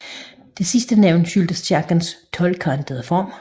Det sidste navn skyldes kirkens tolvkantede form